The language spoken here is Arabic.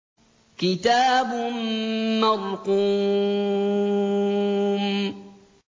كِتَابٌ مَّرْقُومٌ